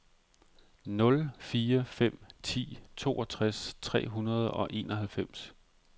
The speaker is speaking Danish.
nul fire fem ni toogtres tre hundrede og enoghalvfems